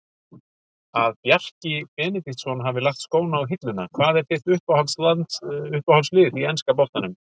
Að Bjarki Benediktsson hafi lagt skóna á hilluna Hvað er þitt uppáhaldslið í enska boltanum?